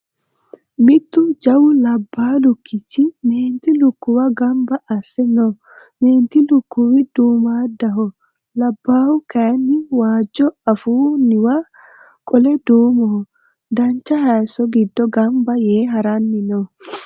Mittu jawu labbaa lukkicgi meenti lukkuwa gamba asse no. Meenti lukkiwi duumaaddaho labbahu kayinni waajjoho afuu niwa qole duumoho. Dancha hayisso giddo gamba Yee haranni no.